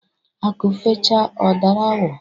Akụ fecha ọ dara awọ.